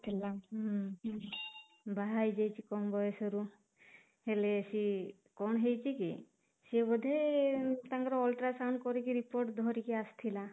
ଥିଲା ହୁଁ ବାହା ହେଇଯାଇଛି କମ ବୟସରୁ ହେଲେ ବି କଣ ହେଇଛି କି ସେ ବୋଧେ ତାଙ୍କର ultrasound କରିକି ରିପୋର୍ଟ ଧରିକି ଆସିଥିଲା